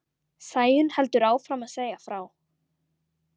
Sæunn heldur áfram að segja frá.